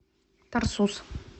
тарсус